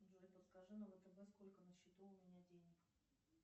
джой подскажи на втб сколько на счету у меня денег